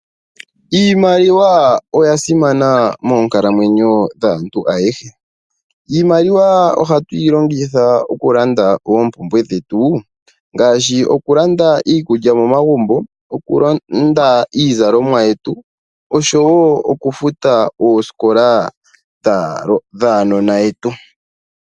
Iimaliwa oya simana moonkalamwenyo dhaantu ayehe oshoka ohatu yi longitha okulanda oompumbwe dhetu ngaashi iikulya, iizalomwa noshowo okufuta oosikola dhaanona yetu.